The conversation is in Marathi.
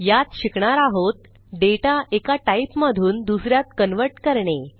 यात शिकणार आहोत डेटा एका टाईपमधून दुस यात कन्व्हर्ट करणे